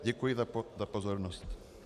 Děkuji za pozornost.